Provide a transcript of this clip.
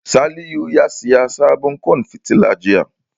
Salihu ya saya sabon ƙwan fitila jiya